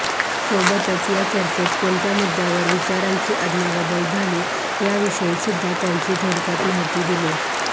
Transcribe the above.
सोबतच या चर्चेत कोणत्या मुद्द्यांवर विचारांची अदलाबदल झाली याविषयीसुद्धा त्यांची थोडक्यात माहिती दिली